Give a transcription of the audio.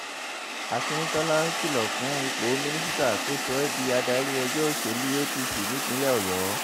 akíntola kìlọ̀ fún ipò mínísítà kó sọ ẹ́ di adarí ẹgbẹ́ òṣèlú [css] apc nípínlẹ̀ ọ̀yọ́